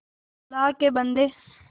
अल्लाह के बन्दे